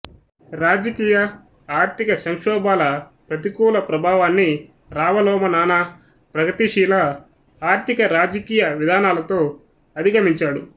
రాజకీయ ఆర్థిక సంక్షోభాల ప్రతికూల ప్రభావాన్ని రావలోమనానా ప్రగతిశీల ఆర్థిక రాజకీయ విధానాలతో అధిగమించాడు